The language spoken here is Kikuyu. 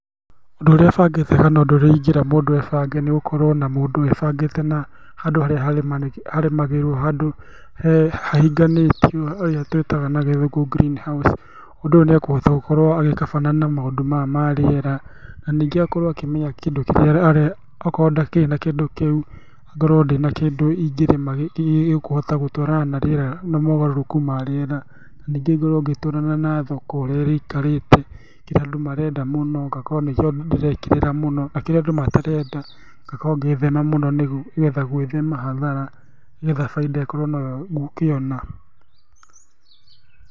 Ũndũ ũrĩa bangĩte kana ũndũ ũrĩa ingĩra mũndũ ebange nĩgũkorwo ona mũndũ ebangĩte na handũ harĩa harĩmagĩrwo, handũ hahinganĩte nĩyo twĩtaga na gĩthũngũ green house Mũndũ ũyũ nĩekũhota gũkorwo agĩkabana na maũndũ maya marĩera, na ningĩ agakorwo akĩmenya kĩndũ kĩrĩa akorwo ndarĩ na kĩndũ kĩu, ngorwo ndĩna kĩndũ ingĩrĩma gĩkũhota gũtwarana na rĩera na maũgarũrũku ma rĩera, ningĩ ngorwo ngĩtwarana na thoko ũrĩa ĩikarĩte, kĩrĩa andũ marenda mũno ngakorwo nĩkĩo ndĩrekĩrĩra mũno, na kĩrĩa andũ matarenda ngakorwo ngĩgĩthema mũno nĩgetha gwĩthema hathara nĩgetha bainda ĩkorwo noyo ngũkĩona.